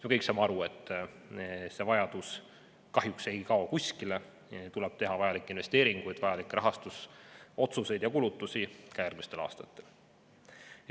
Me kõik saame aru, et see vajadus ei kao kahjuks kuskile ning meil tuleb teha vajalikke investeeringuid, rahastusotsuseid ja kulutusi ka järgmistel aastatel.